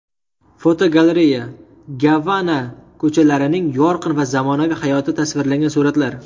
Fotogalereya: Gavana ko‘chalarining yorqin va zamonaviy hayoti tasvirlangan suratlar.